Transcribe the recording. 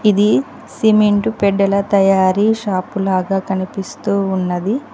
ఇది సిమెంటు పెడ్డల తయారీ షాపు లాగా కనిపిస్తూ ఉన్నది.